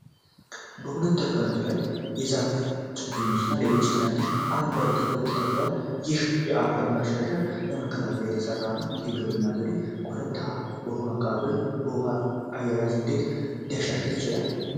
በሁሉም እርከኖች ላይ የዛፍ ችግኞች እና ሌሎች ትናንሽ አረንጓዴ ተክሎች ተተክለዋል፤ ይህም የአፈር መሸርሸርን ለመከላከል እንደተሠራ ነው። ይህ የግብርና ዘዴ ኮረብታማ በሆኑ አካባቢዎች የውኃ አያያዝን እንዴት ሊያሻሽል ይችላል?